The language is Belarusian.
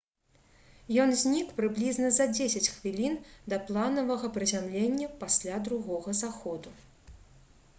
ён знік прыблізна за дзесяць хвілін да планавага прызямлення пасля другога заходу